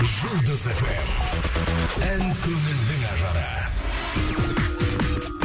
жұлдыз фм ән көңілдің ажары